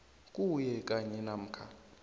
kuwe kanye namkha